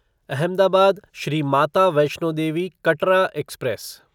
Ahmedabad Shri Mata Vaishno Devi Katra express